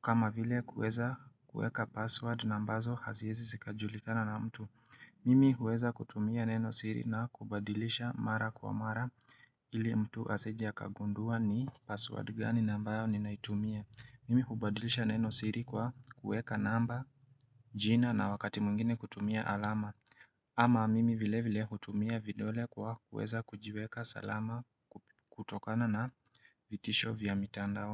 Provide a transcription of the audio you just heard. kama vile kuweza kuweka password na ambazo haziezi zikajulikana na mtu Mimi huweza kutumia nenosiri na kubadilisha mara kwa mara ili mtu asije akagundua ni password gani ambayo ninaitumia. Mimi hubadilisha neno siri kwa kuweka namba jina na wakati mwingine kutumia alama ama mimi vile vile hutumia vidole kwa kuweza kujiweka salama kutokana na vitisho vya mitandao.